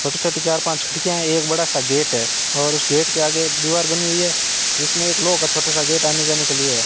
छोटी छोटी चार पांच खिड़कियां एक बड़ा सा गेट है उस गेट के आगे एक दीवार बनी हुई है जिसमें एक लोह का छोटा सा गेट आने जाने के लिए है।